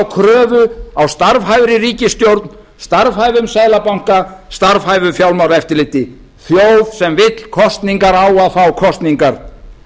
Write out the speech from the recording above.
kröfu á starfhæfri ríkisstjórn starfhæfum seðlabanka starfhæfu fjármálaeftirliti þjóð sem vill kosningar á að fá kosningar